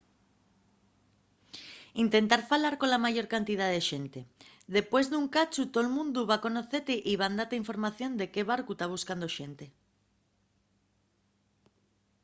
intenta falar cola mayor cantidá de xente. depués d’un cachu tol mundu va conocete y van date información de qué barcu ta buscando xente